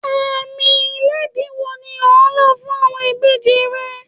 Àámì ilẹ̀dìí wò ni ò ńlọ̀ fún awọn ìbèjì rẹ̀?